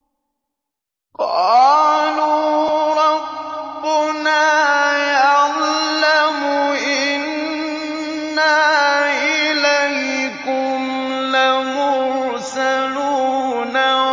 قَالُوا رَبُّنَا يَعْلَمُ إِنَّا إِلَيْكُمْ لَمُرْسَلُونَ